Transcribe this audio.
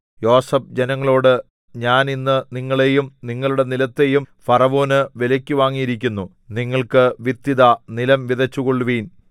യോസേഫ് ജനങ്ങളോട് ഞാൻ ഇന്ന് നിങ്ങളെയും നിങ്ങളുടെ നിലത്തെയും ഫറവോനു വിലയ്ക്കു വാങ്ങിയിരിക്കുന്നു നിങ്ങൾക്ക് വിത്ത് ഇതാ നിലം വിതച്ചുകൊള്ളുവിൻ